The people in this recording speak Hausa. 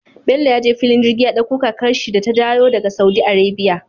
Bello ya je fillin jirgi ya ɗakko kakar shi da ta dayo daka saudi arabia